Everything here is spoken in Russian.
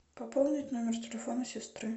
пополнить номер телефона сестры